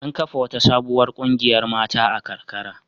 An kafa wata sabuwar ƙungiyar mata a karkara.